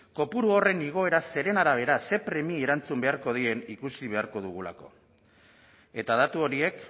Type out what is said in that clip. kopuru horren igoera zeren arabera zer premiei erantzun beharko dien ikusi beharko dugulako eta datu horiek